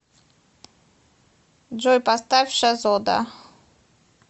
джой поставь шазода